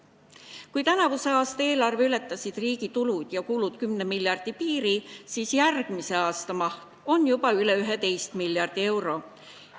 Kui tänavuse aasta eelarves ületasid riigi tulud ja kulud 10 miljardi piiri, siis järgmise aasta maht on juba üle 11 miljardi euro.